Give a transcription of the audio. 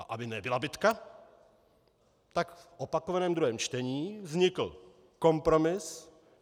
A aby nebyla bitka, tak v opakovaném druhém čtení vznikl kompromis.